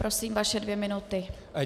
Prosím, vaše dvě minuty.